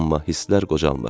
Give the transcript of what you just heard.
Amma hisslər qocalmır.